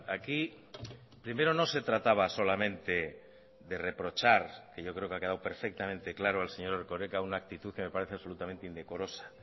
aquí primero no se trataba solamente de reprochar que yo creo que ha quedado perfectamente claro al señor erkoreka una actitud que me parece absolutamente indecorosa